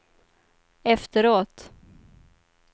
efteråt